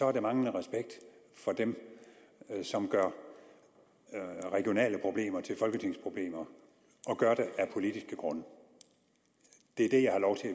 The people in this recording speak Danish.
er det manglende respekt for dem som gør regionale problemer til folketingsproblemer og gør det af politiske grunde det er